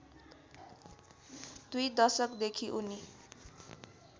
दुई दशकदेखि उनी